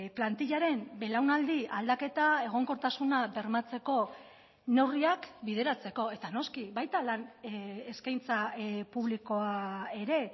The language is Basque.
plantilaren belaunaldi aldaketa egonkortasuna bermatzeko neurriak bideratzeko eta noski baita lan eskaintza publikoa ere